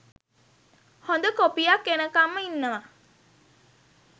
හොඳ කොපියක් එනකංම ඉන්නව.